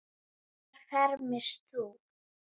Hvar fermist þú?